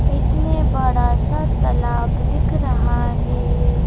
इसमें बड़ा सा तालाब दिख रहा है।